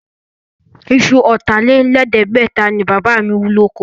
Isu ọ̀tà-lé-lẹ̀ẹ́dẹ́gbẹ̀ta ni Bàbá mi wú lóko.